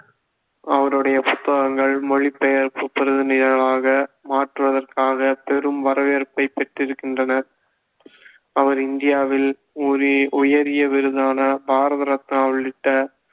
அவருடைய புத்தகங்கள் மொழிபெயர்ப்பு மாற்றுவதற்காக பெரும் வரவேற்பைப் பெற்றிருக்கின்றன அவர் இந்தியாவில் உயரிய விருதான பாரத ரத்னா உள்ளிட்ட